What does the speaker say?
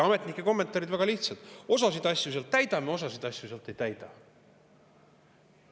Ametnike kommentaarid on väga lihtsad: osasid asju sealt täidame, osasid asju sealt ei täida.